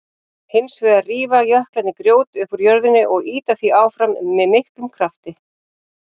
Hins vegar rífa jöklarnir grjót upp úr jörðinni og ýta því áfram með miklum krafti.